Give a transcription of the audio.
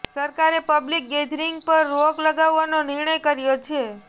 સરકારે public gathering પર રોક લગાવવાનો નિર્ણય કર્યો છે